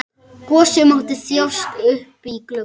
Gosi mátti þjást uppí glugga.